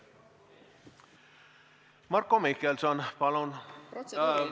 Marko Mihkelson, palun!